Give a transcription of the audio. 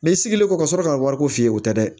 Ne sigilen kɔ ka sɔrɔ ka wari ko f'i ye o tɛ dɛ